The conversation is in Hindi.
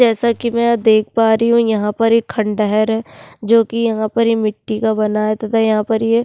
जैसा कि मैं यहाँ देख पा रही हूँ यहाँ पर एक खंडहर है जो कि यहाँ पर मिटटी का बना है तथा यहाँ पर ये --